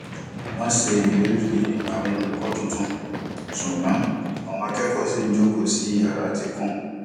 wọn ṣe ìlérí àwọn olùkọ tuntun ṣùgbọn àwọn akẹkọọ ṣi ń jókoó sí yara tí kún